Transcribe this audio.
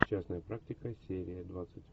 частная практика серия двадцать